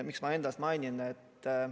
Miks ma ennast mainisin?